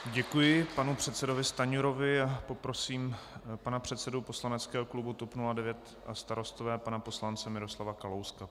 Děkuji panu předsedovi Stanjurovi a poprosím pana předsedu poslaneckého klubu TOP 09 a Starostové pana poslance Miroslava Kalouska.